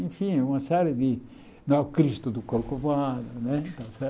Enfim, uma série de... Não é o Cristo do Corcovado. Não é está